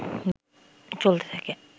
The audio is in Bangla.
চলতে থাকে